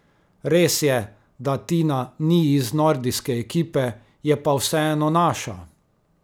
Res je, da Tina ni iz nordijske ekipe, je pa vseeno naša.